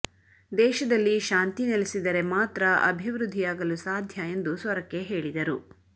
ದೇಶದಲ್ಲಿ ಶಾಂತಿ ನೆಲಸಿದರೆ ಮಾತ್ರ ಅಭಿವೃದ್ದಿಯಾಗಲು ಸಾಧ್ಯ ಎಂದು ಸೊರಕೆ ಹೇಳಿದರು